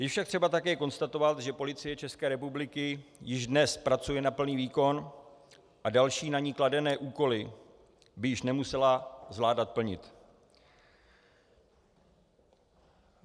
Je však třeba také konstatovat, že Policie České republiky již dnes pracuje na plný výkon a další na ni kladené úkoly by již nemusela zvládat plnit.